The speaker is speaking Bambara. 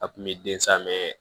A kun bɛ den samɛn